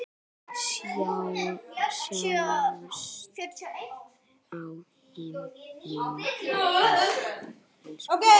Sjáumst á himnum, elsku pabbi.